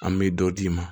An bɛ dɔ d'i ma